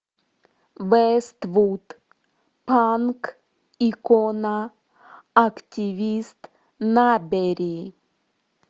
вествуд панк икона активист набери